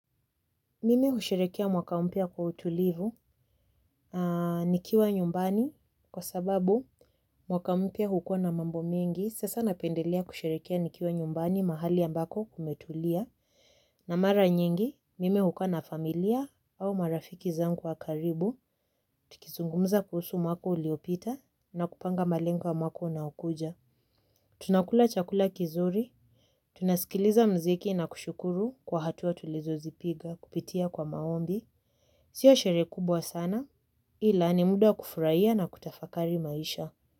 Mimi husherehekea mwaka mpya kwa utulivu, nikiwa nyumbani, kwa sababu mwaka mpya hukuwa na mambo mingi, sasa napendelea kusherehekea nikiwa nyumbani mahali ambako kumetulia. Na mara nyingi mimi hukaa na familia au marafiki zangu wa karibu tukizungumza kuhusu mwaka uliopita na kupanga malengo ya mwaka unaokuja. Tunakula chakula kizuri, tunasikiliza mziki na kushukuru kwa hatua tulizozipiga kupitia kwa maombi. Sio sherehe kubwa sana, ila ni muda kufurahia na kutafakari maisha.